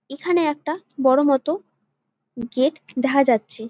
এখানে একটা বড়ো মতো গেট দেখা যাচ্ছে ।